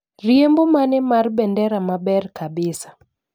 Riembo mane mar bendera maber kabisa?